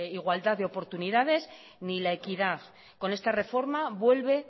igualdad de oportunidades ni la equidad con esta reforma vuelve